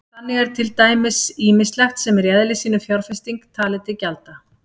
Þannig er til dæmis ýmislegt sem er í eðli sínu fjárfesting talið til gjalda.